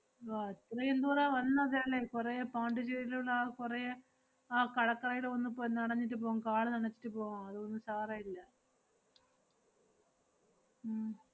വ~ അത്രയും ദൂരം വന്നതല്ലേ, കൊറേ പോണ്ടിച്ചേരിലുള്ള ആഹ് കൊറേ ആ കടക്കരെല് ഒന്ന് പൊ~ നനഞ്ഞിട്ട് പോം, കാല് നനച്ചിട്ട് പോവാം. അത് ഒന്നും സാര ഇല്ല. ഉം